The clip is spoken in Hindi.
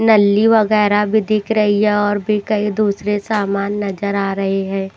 नल्ली वगैरह भी दिख रही है और भी कई दूसरे सामान नजर आ रहे हैं।